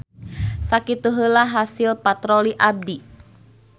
Sakitu heula hasil patroli abdi.